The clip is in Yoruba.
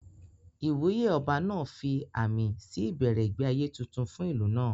Ìwúyè Ọba náà fi àmì sí ìbẹ̀rẹ̀ ìgbé ayé tuntun fún ìlú náà